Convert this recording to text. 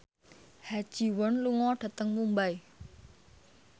Ha Ji Won lunga dhateng Mumbai